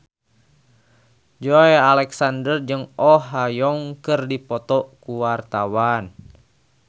Joey Alexander jeung Oh Ha Young keur dipoto ku wartawan